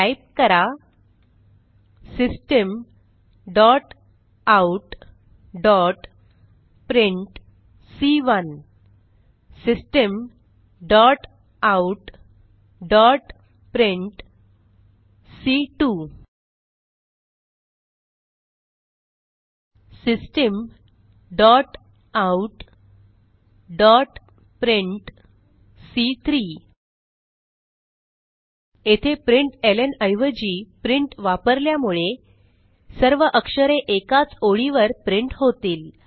type करा systemoutप्रिंट systemoutप्रिंट systemoutप्रिंट येथे प्रिंटलं ऐवजी प्रिंट वापरल्यामुळे सर्व अक्षरे एकाच ओळीवर प्रिंट होतील